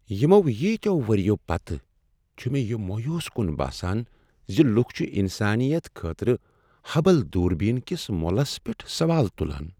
یمو ییتیو ؤرۍیَو پتہٕ ، چھٗ مے٘ یہٕ مویوٗس کُن باسان ز لُکھ چھ انسانیت خٲطرٕ ہبل دوربین كِس مولس پیٹھ سوال تُلان ۔